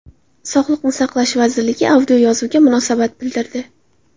Sog‘liqni saqlash vazirligi audioyozuvga munosabat bildirdi .